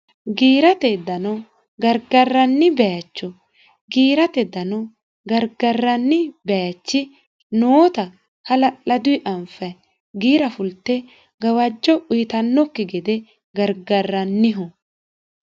giirate dano gargarranni bayicho giirate dano gargarranni baayichi noota hala'laduni aniffayi giira fulte gawajjo uyitannokki gede gargarranniho